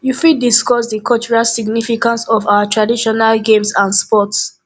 you fit discuss di cultural significance of our traditional games and sports